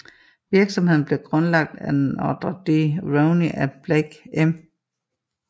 Virksomheden blev grundlagt af Nedra Dee Roney and Blake M